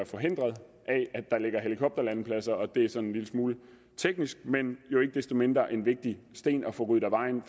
forhindret af at der ligger helikopterlandingspladser det er sådan en lille smule teknisk men jo ikke desto mindre en vigtig sten at få ryddet af vejen